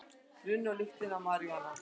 Runnu á lyktina af maríjúana